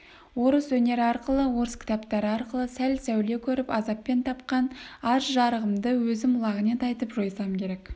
орыс өнері арқылы орыс кітаптары арқылы сәл сәуле көріп азаппен тапқан аз жарығымды өзім лағынет айтып жойсам керек